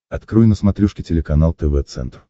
открой на смотрешке телеканал тв центр